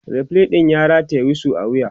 referee ɗin ya rataya wisu a wuya